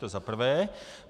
To za prvé.